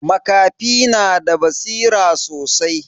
Makafi na da basira sosai.